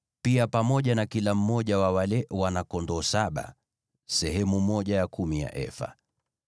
pia pamoja na kila mmoja wa wale wana-kondoo saba, andaa sehemu ya kumi ya efa.